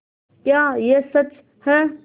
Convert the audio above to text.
क्या यह सच है